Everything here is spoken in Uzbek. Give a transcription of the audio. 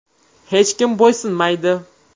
Hech kimga bo‘ysunmaydi.